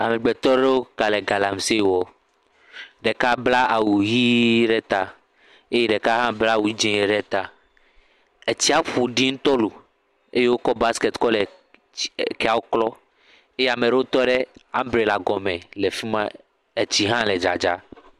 Amegbetɔ aɖewo gale galamse wɔm. Ɖeka bla awu ʋi ɖe ta eye ɖeka hã bla awu dzɛ̃ ɖe ta. Tsia ƒo ɖi ŋutɔ loo eye wokɔ basiketi kɔ le tsi keawo klɔm eye ame aɖewo tɔ ɖe ambrela gɔme le fi ma tsi hã le dzadzaa.